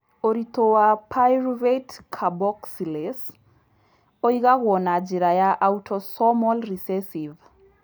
Ũritũ wa pyruvate carboxylase ũigagwo na njĩra ya autosomal recessive.